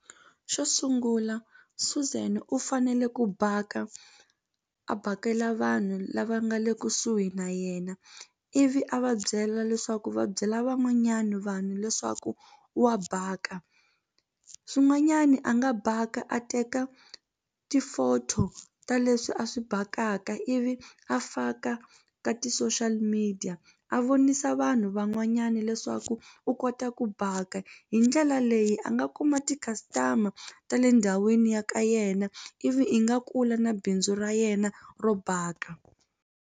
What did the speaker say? Xo sungula Suzan u fanele ku bhaka a bhakela vanhu lava nga le kusuhi na yena ivi a va byela leswaku va byela van'wanyana vanhu leswaku wa baka swin'wanyani a nga baka a teka ti-photo ta leswi a swi bakana mhaka ivi a faka ka ti social media a vonisa vanhu van'wanyana nyana leswaku u kota ku bhaka hi ndlela leyi a nga kuma ti-customer ta le ndhawini ya ka yena ivi i nga kula na bindzu ra yena ro baka.